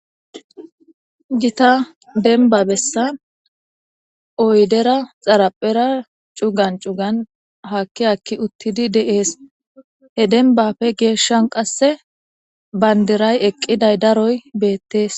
gita denba bessan oydera xaraphera cugan cugan hakki hakki uttidi de'ees he denbafe geeshshan qasse bayndiray eqqiday daroy beettees